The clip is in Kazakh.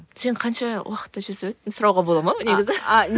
сен қанша уақытта жүзіп өттің сұрауға бол ма негізі